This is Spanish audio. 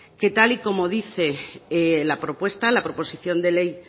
que tal y como dice la propuesta la proposición de ley